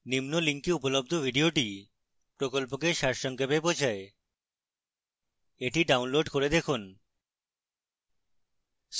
নিম্ন link উপলব্ধ video প্রকল্পকে সারসংক্ষেপ বোঝায় the download করে দেখুন